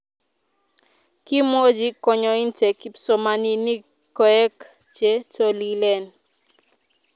Kimwochi kanyointe kipsomaninik koek che tolilen.